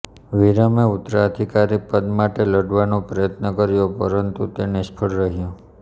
વિરમે ઉત્તરાધિકારી પદ માટે લડવાનો પ્રયત્ન કર્યો પરંતુ તે નિષ્ફળ રહ્યો